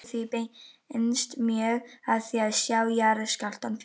Á síðustu áratugum hefur athygli því beinst mjög að því að sjá jarðskjálfta fyrir.